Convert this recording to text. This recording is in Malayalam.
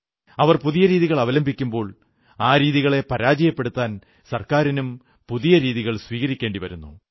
അവർ പുതിയ രീതികൾ അവലംബിക്കുമ്പോൾ ആ രീതികളെ പരാജയപ്പെടുത്താൻ സർക്കാരിനും പുതിയ രീതികൾ സ്വീകരിക്കേണ്ടി വരുന്നു